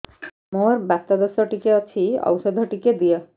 ମୋର୍ ବାତ ଦୋଷ ଟିକେ ଅଛି ଔଷଧ ଟିକେ ଦିଅ